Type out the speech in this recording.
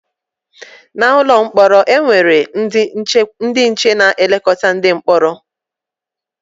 N’ụlọ mkpọrọ, e nwere ndị nche na-elekọta ndị mkpọrọ.